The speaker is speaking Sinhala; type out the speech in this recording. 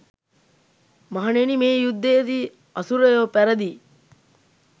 මහණෙනි මේ යුද්ධයේදී අසුරයෝ පැරදී